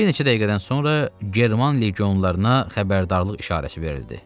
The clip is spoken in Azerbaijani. Bir neçə dəqiqədən sonra German legionlarına xəbərdarlıq işarəsi verildi.